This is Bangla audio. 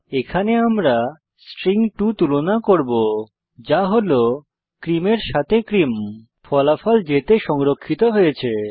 এখানে আমরা স্ট্রিং 2 তুলনা করব যা হল ক্রিম এর সাথে ক্রিম ফলাফল j তে সংরক্ষিত হয়েছে